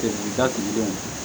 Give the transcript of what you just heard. Teri da sigilen